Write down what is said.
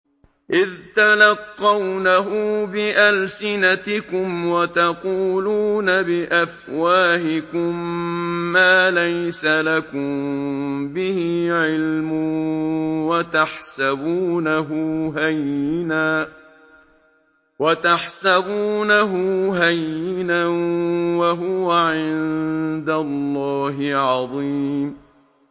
إِذْ تَلَقَّوْنَهُ بِأَلْسِنَتِكُمْ وَتَقُولُونَ بِأَفْوَاهِكُم مَّا لَيْسَ لَكُم بِهِ عِلْمٌ وَتَحْسَبُونَهُ هَيِّنًا وَهُوَ عِندَ اللَّهِ عَظِيمٌ